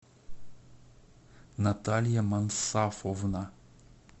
наталья мансафовна